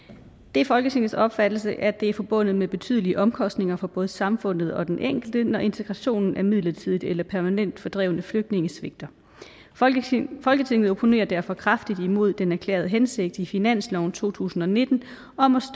det er folketingets opfattelse at det er forbundet med betydelige omkostninger for både samfundet og den enkelte når integrationen af midlertidigt eller permanent fordrevne flygtninge svigter folketinget folketinget opponerer derfor kraftigt imod den erklærede hensigt i finansloven to tusind og nitten om at